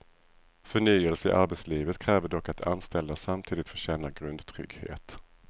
Förnyelse i arbetslivet kräver dock att anställda samtidigt får känna grundtrygghet.